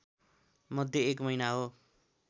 मध्ये एक महिना हो